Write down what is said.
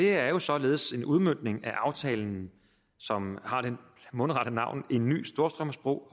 er således en udmøntning af aftalen som har det mundrette navn en ny storstrømsbro